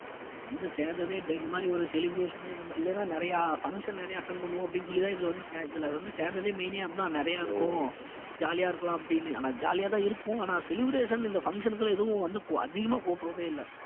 வந்து சேர்ந்ததே இந்த மாதிரி ஒரு celebration இந்த மா~ இல்லைன்னா நிறைய function நிறைய attend பண்ணுவோம் அப்படின்னு சொல்லிதான் இதுல வந்து சே~ இதுல வந்து சேர்ந்ததே main ஏ அதுதான் நிறைய இருக்கும் jolly ஆ இருக்கலாம் அப்படின்னு ஆனா jolly யாதான் இருக்கும் ஆனா celebration இந்த function க்கு எல்லாம் எதுவும் வந்து அதிகமா கூப்பிடுறதே இல்ல